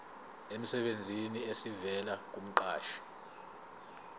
emsebenzini esivela kumqashi